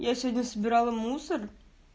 я сегодня собирала мусор